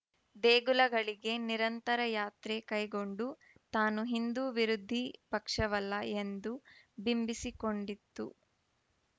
ದೇಗುಲಗಳಿಗೆ ನಿರಂತರ ಯಾತ್ರೆ ಕೈಗೊಂಡು ತಾನು ಹಿಂದು ವಿರೋಧಿ ಪಕ್ಷವಲ್ಲ ಎಂದು ಬಿಂಬಿಸಿಕೊಂಡಿತ್ತು